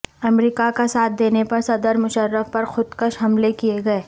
امریکہ کا ساتھ دینے پر صدر مشرف پر خودکش حملے کیے گئے